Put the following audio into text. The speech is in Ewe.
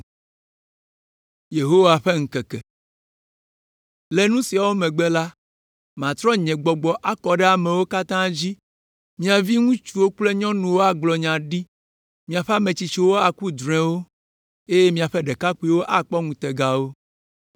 “Le nu siawo megbe la, matrɔ nye Gbɔgbɔ akɔ ɖe amewo katã dzi! Mia viŋutsuwo kple nyɔnuwo agblɔ nya ɖi, miaƒe ame tsitsiwo aku drɔ̃ewo eye miaƒe ɖekakpuiwo akpɔ ŋutegawo.